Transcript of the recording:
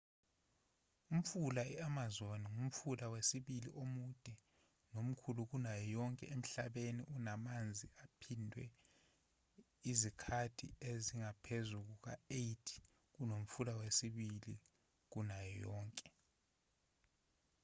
umfula i-amazon ngumfula wesibili omude nomkhulu kunayo yonke emhlabeni unamanzi aphindwe izikhathi ezingaphezu kuka-8 kunomfula wesibili omkhulu kunayo yonke